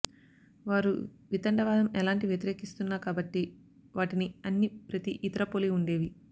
వారు వితండవాదం ఎలాంటి వ్యతిరేకిస్తున్న కాబట్టి వాటిని అన్ని ప్రతి ఇతర పోలి ఉండేవి